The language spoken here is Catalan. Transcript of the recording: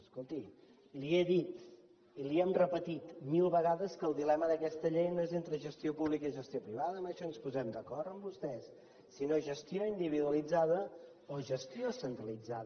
escolti li he dit i li hem repetit mil vegades que el dilema d’aquesta llei no és entre gestió pública i gestió privada en això ens posem d’acord amb vostès sinó gestió individualitzada o gestió centralitzada